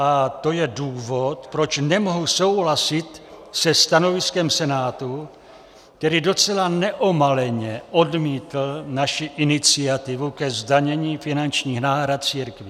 A to je důvod, proč nemohu souhlasit se stanoviskem Senátu, který docela neomaleně odmítl naši iniciativu ke zdanění finančních náhrad církvím.